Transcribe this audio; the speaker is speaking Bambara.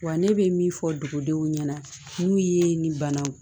Wa ne bɛ min fɔ dugudenw ɲɛna n'u ye nin banaw ye